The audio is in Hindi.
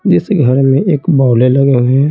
जिस घर में एक बौले लगे हुए हैं।